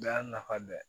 Bɛɛ y'a nafa dɔ ye